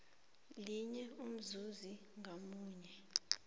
linye umzuzi ngamunye